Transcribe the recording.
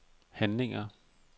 handlinger